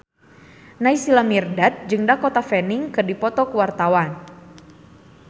Naysila Mirdad jeung Dakota Fanning keur dipoto ku wartawan